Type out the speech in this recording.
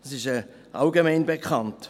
Das ist allgemein bekannt.